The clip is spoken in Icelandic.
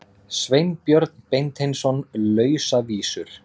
Sveinbjörn Beinteinsson: Lausavísur.